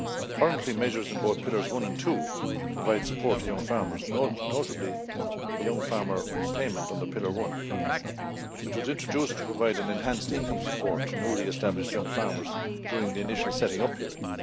Currently, measures in Pillars one and two provide support to young farmers, notably the young farmer payment under Pillar one, which was introduced to provide an enhanced income support to newly established young farmers during the initial setting up period.